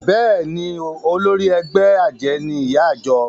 Bẹ́ẹ̀ni o, olórí ẹgbẹ́ àjẹ́ ni ìyá ìjọ